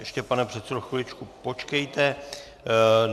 Ještě pane předsedo chviličku počkejte.